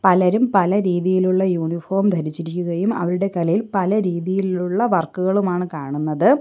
പലരും പല രീതിയിലുള്ള യൂണിഫോം ധരിച്ചിരിക്കുകയും അവരുടെ കലയിൽ പല രീതിയിലുള്ള വർക്കുകളുമാണ് കാണുന്നത്.